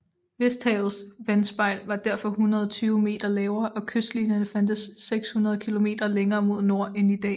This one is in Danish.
Vesterhavets vandspejl var derfor 120 meter lavere og kystlinjerne fandtes 600 km længere mod nord end i dag